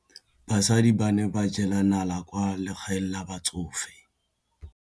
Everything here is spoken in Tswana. Basadi ba ne ba jela nala kwaa legaeng la batsofe.